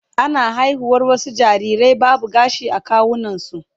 Ana haihuwar wasu jarirai babu gashi a kawunansu